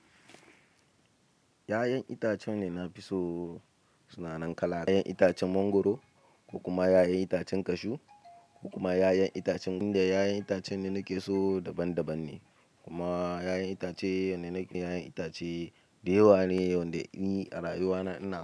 Ƴaƴan itacen da na fi so sunanan kala. Ya'yan itacen mangwaro ko kuma yayan itacen cashew ko kuma yayan itacen, inda yayan itacen da nake so daban-daban ne. Kuma ƴaƴan itace yanda nake ya'yan itace dayawa ne, wanda ni a rayuwa na ina.